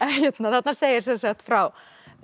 þarna segir frá